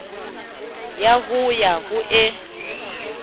ya ho ya ho e